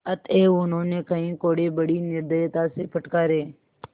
अतएव उन्होंने कई कोडे़ बड़ी निर्दयता से फटकारे